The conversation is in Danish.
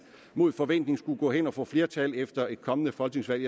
mod forventning skulle gå hen og få flertal efter et kommende folketingsvalg